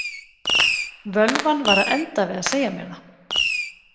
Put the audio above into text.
Völvan var að enda við að segja mér það.